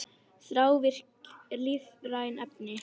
Þrávirk lífræn efni